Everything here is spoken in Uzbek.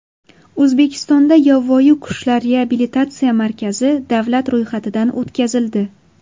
O‘zbekistonda Yovvoyi qushlar reabilitatsiya markazi davlat ro‘yxatidan o‘tkazildi.